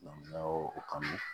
o kanu